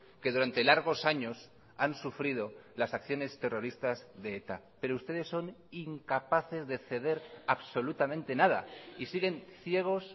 que durante largos años han sufrido las acciones terroristas de eta pero ustedes son incapaces de ceder absolutamente nada y siguen ciegos